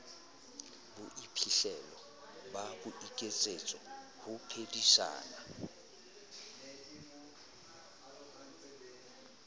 bophihlelo ba boiketsetso ho phedisana